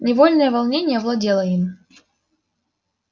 невольное волнение овладело им